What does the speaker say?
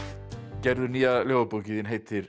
gerður nýja ljóðabókin þín heitir